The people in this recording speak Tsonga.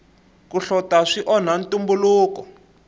ku hlota swi onha ntumbuluko